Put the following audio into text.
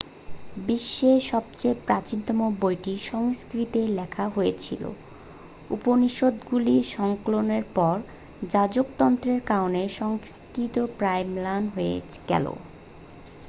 বিশ্বের সবথেকে প্রাচীনতম বইটি সংস্কৃত-এ লেখা হয়েছিল উপনিষদগুলি সংকলনের পর যাজকতন্ত্রের কারণে সংস্কৃত প্রায় ম্লান হয়ে গেল